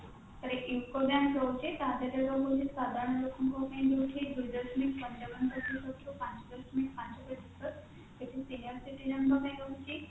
bank ରହୁଛି ତା ଦେହରେ ରହୁଛି ସାଧାରଣ ଲୋକଙ୍କ ପାଇଁ କି ରହୁଛି ଦୁଇ ଦଶମିକ ପଞ୍ଚାବନ ପ୍ରତିଶତ ରୁ ପାଞ୍ଚ ଦଶମିକ ପାଞ୍ଚ ପ୍ରତିଶତ ସେଥିରୁ senior citizen ଙ୍କ ପାଇଁ ରହୁଛି